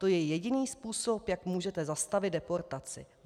To je jediný způsob, jak můžete zastavit deportaci.